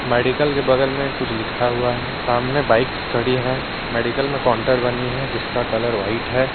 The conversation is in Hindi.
मेडिकल के बगल में कुछ लिखा हुआ है सामने बाइकस खड़ी है मेडिकल में काउंटर बनी है जिसका कलर व्हाइट है।